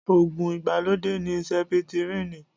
Ògùn ìgbàlódé ní sẹpitírínì